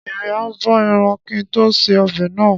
Èmi a bo ẹran kín tó ṣe ọbẹ̀ náà.